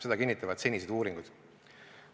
Seda kinnitavad senised uuringud.